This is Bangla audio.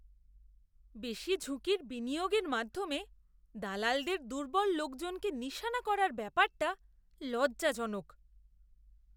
বেশি ঝুঁকির বিনিয়োগের মাধ্যমে দালালদের দুর্বল লোকজনকে নিশানা করার ব্যাপারটা লজ্জাজনক।